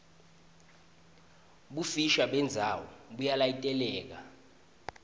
bufisha bendzawo buyalayiteleka